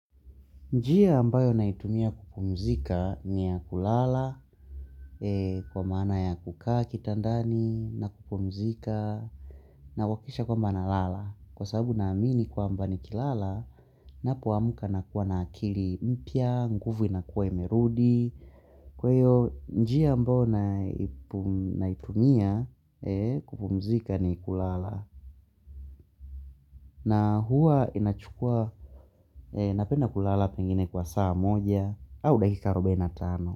Njia ambayo naitumia kupumzika ni ya kulala kwa maana ya kukaa kitandani na kupumzika na wakisha kwamba nalala. Kwa sababu na amini kwamba nikilala ninapoamuka na kuwa na akili mpya, nguvu inakuwa imerudi. Kwa hiyo njia ambayo naitumia kupumzika ni kulala na huwa inachukua napenda kulala pengine kwa saa moja au dakika arobaini na tano.